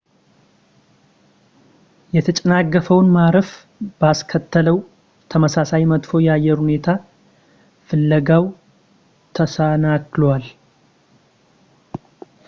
የተጨናገፈውን ማረፍ ባስከሰተው ተመሳሳይ መጥፎ የአየር ሁኔታ ፍለጋው ተሰናክሏል